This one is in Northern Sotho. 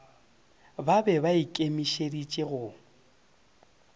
ba be ba ikemišeditše go